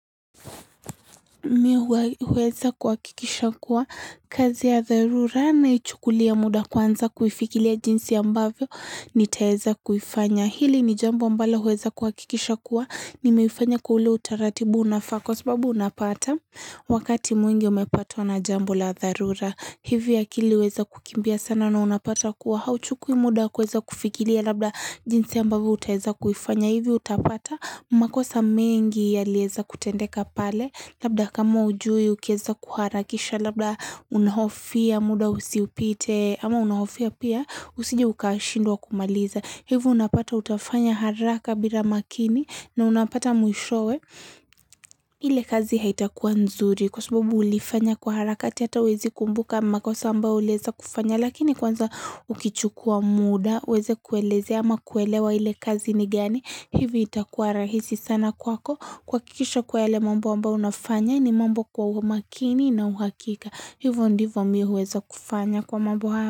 Mi huweza kuhakikisha kuwa kazi ya dharura naichukulia muda kwanza kuifikiria jinsi ambavyo nitaeza kufanya. Hili ni jambo ambalo huweza kuhakikisha kuwa nimeifanya kwa ule utaratibu unafaa kwa sababu unapata. Wakati mwingi umepatwa na jambo la dharura hivi akili huweza kukimbia sana na unapata kuwa hauchukui muda kuweza kufikiria labda jinsi ambavyo utaeza kuifanya. Hivyo utapata makosa mengi yalieza kutendeka pale labda kama hujui ukieza kuharakisha labda unahofia muda usiupite ama unahofia pia usije ukashindwa kumaliza. Hivyo unapata utafanya haraka bila makini na unapata mwishowe ile kazi haitakuwa nzuri kwa sababu ulifanya kwa harakati hata huwezi kumbuka makosa ambao ulieza kufanya lakini kwanza ukichukua muda uweze kuelezea ama kuelewa ile kazi ni gani. Hivi itakuwa rahisi sana kwako kuhakikisha kuwa yale mambo ambao unafanya ni mambo kwa umakini na uhakika hivo ndivo mi huweza kufanya kwa mambo haya.